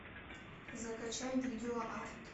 закачай видео арт